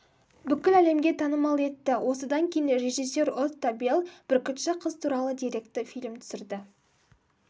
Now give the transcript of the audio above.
бүкіл әлемге танымал етті осыдан кейін режиссер отто белл бүркітші қыз атты деректі фильм түсірді